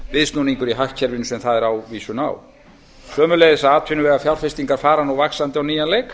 viðsnúningur í hagkerfinu sem það er ávísun á sömuleiðis að atvinnuvegafjárfestingar fara nú vaxandi á nýjan leik